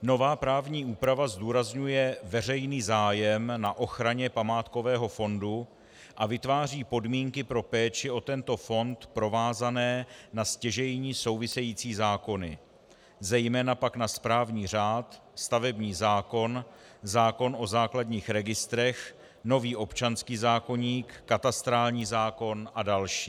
Nová právní úprava zdůrazňuje veřejný zájem na ochraně památkového fondu a vytváří podmínky pro péči o tento fond provázané na stěžejní související zákony, zejména pak na správní řád, stavební zákon, zákon o základních registrech, nový občanský zákoník, katastrální zákon a další.